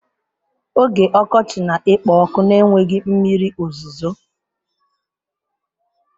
Oge ọkọchị na-ekpo ọkụ na-enweghị mmiri ozuzo.